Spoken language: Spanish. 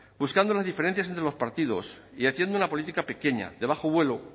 buscando las diferencias entre los partidos y haciendo una política pequeña de bajo vuelo